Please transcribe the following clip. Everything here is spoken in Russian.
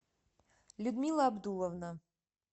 людмила абдулловна